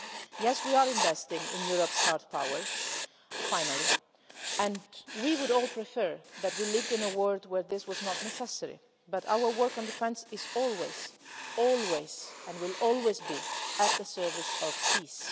Yes, we are investing in Europe's hard power finally and we would all prefer that we lived in a world where this was not necessary, but our work on defence is always and will always be at the service of peace.